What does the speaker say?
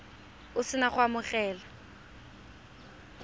o se na go amogela